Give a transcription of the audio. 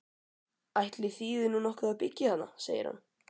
Ætli þýði nú nokkuð að byggja þarna? segir hann.